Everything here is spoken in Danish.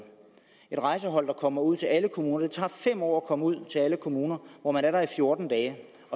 et rejsehold der kommer ud til alle kommuner det tager fem år at komme ud til alle kommuner hvor man er i fjorten dage